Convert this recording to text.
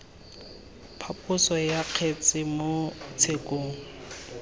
phaposo ya kgetse mo tshekong